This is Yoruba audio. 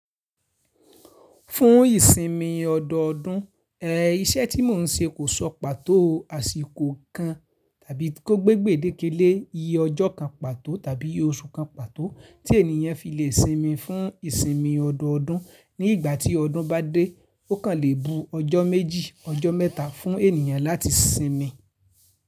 Fún ìsinmi ọdọọdún, ẹ, iṣẹ́ tí mò ń ṣe kò sọ pàtó àsìkò kan tàbí kó gbégbè dékélé iyí ọjọ́ kan pàtó tàbí oṣù kan pàtó tí ènìyàn fi lè sinmi fún ìsinmi ọdọọdún. Ní ìgbà tí ọdún bá dé, ó kàn lè bu ọjọ́ méjì, ọjọ́ mẹ́ta fún ènìyàn láti sinmi.